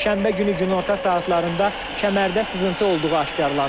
Şənbə günü günorta saatlarında kəmərdə sızıntı olduğu aşkarlanıb.